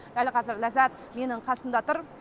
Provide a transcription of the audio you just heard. дәл қазір ляззат менің қасымда тұр